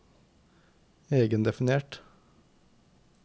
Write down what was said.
egendefinert